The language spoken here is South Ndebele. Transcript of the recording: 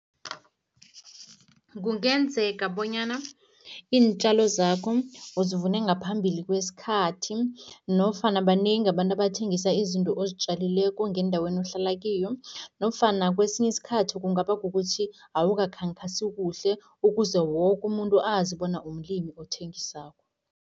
Kungenzeka bonyana iintjalo zakho uzivune ngaphambili kwesikhathi nofana banengi abantu abathengisa izinto ozitjalileko ngendaweni ohlala kiyo nofana kwesinye isikhathi, kungaba kukuthi awukakhankasi kuhle ukuze woke umuntu azi bona umlimi othengisako.